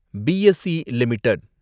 BSE limited